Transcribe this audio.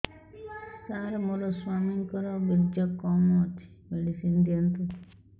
ସାର ମୋର ସ୍ୱାମୀଙ୍କର ବୀର୍ଯ୍ୟ କମ ଅଛି ମେଡିସିନ ଦିଅନ୍ତୁ